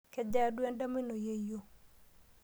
Kejaa duo endama ino yeyio?